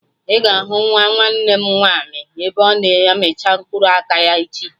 Ị ga-ahụ nwa nwanne m nwaanyị ebe ọ na amicha mkpụrụ aka ya echi